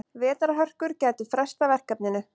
Vetrarhörkur gætu frestað verkefninu.